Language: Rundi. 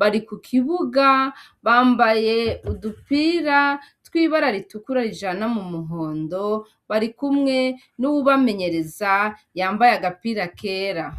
Bari ku kibuga, bambaye udupira tw'ibara ritukura, rijana mu muhondo, bari kumwe n'uwubamenyereza, yambaye agapira kera.